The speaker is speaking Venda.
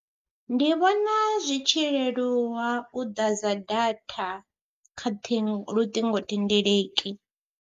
Ndi vhona zwi tshi leluwa u ḓadza data kha thi luṱingothendeleki.